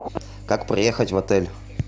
как проехать в отель